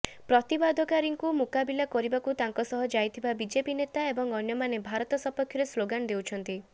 ପ୍ରତିବାଦକାରୀଙ୍କୁ ମୁକାବିଲା କରିବାକୁ ତାଙ୍କ ସହ ଯାଇଥିବା ବିଜେପି ନେତା ଏବଂ ଅନ୍ୟମାନେ ଭାରତ ସପକ୍ଷରେ ସ୍ଲୋଗାନ ଦେଉଛନ୍ତି